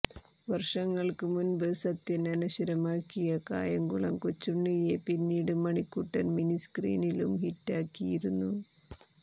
വർഷങ്ങൾക്ക് മുൻപ് സത്യൻ അനശ്വരമാക്കിയ കായംകുളം കൊച്ചുണ്ണിയെ പിന്നീട് മണിക്കുട്ടൻ മിനിസ്ക്രീനിലും ഹിറ്റാക്കിയിരുന്നു